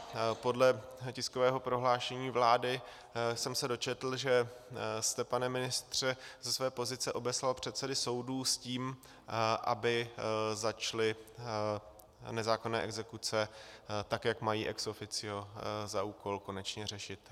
Podle tiskového prohlášení vlády jsem se dočetl, že jste, pane ministře, ze své pozice obeslal předsedy soudů s tím, aby začaly nezákonné exekuce tak, jak mají ex officio za úkol, konečně řešit.